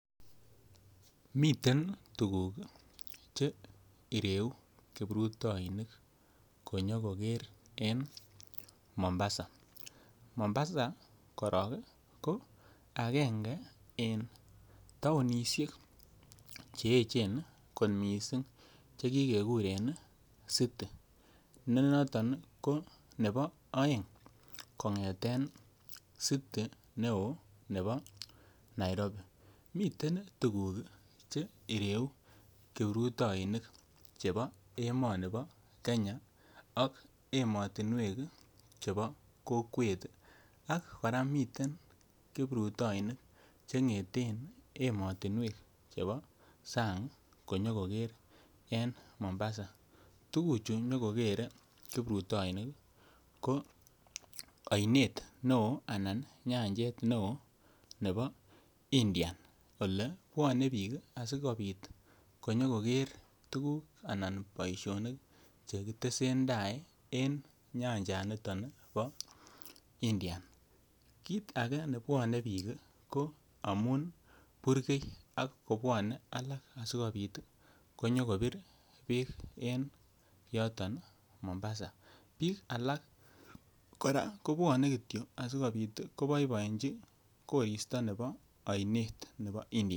Miten tuguk Che ireu kiprutoinik konyokoker en Mombasa Mombasa korok ko agenge en taonisiek che echen kot mising' ako ki kekuren city ne noton ko city nebo aeng' en city neo nebo Nairobi miten tuguk Che ireu kiprutoinik chebo emoni bo Kenya ak chebo emotinwek chebo kokwet ak kora miten kiprutoinik Che ngeten emotinwek ab sang konyokoger en Mombasa tuguk Che nyo kogere kiprutoinik ko ionet neo anan nyanjet neo nebo Indian olebwone bik asikobit konyoger tuguk anan boisionik Che ki tesentai en nyanjanito bo Indian kit age neyoe kobwa bik ko amun burgei ak kobwanei alak asikobit konyikobir Beek en yoton Mombasa bik alak Kityo kobwone koboboenjin koristo nebo nyanjet ab Indian.